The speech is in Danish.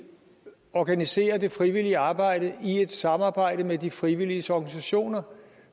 organisere det frivillige arbejde i et samarbejde med de frivilliges organisationer